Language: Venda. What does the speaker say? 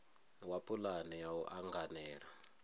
wa pulane ya u anganela